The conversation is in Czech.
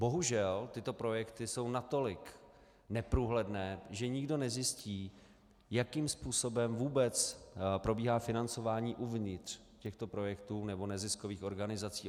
Bohužel tyto projekty jsou natolik neprůhledné, že nikdo nezjistí, jakým způsobem vůbec probíhá financování uvnitř těchto projektů nebo neziskových organizací.